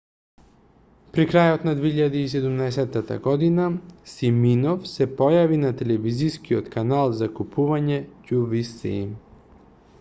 при крајот на 2017 г симинов се појави на телевизискиот канал за купување qvc